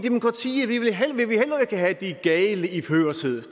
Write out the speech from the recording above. have de gale i førersædet